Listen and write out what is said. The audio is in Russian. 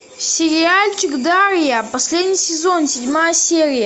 сериальчик дарья последний сезон седьмая серия